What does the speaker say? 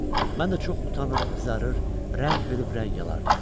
Mən də çox utanır, qızarır, rəng verib rəng alırdım.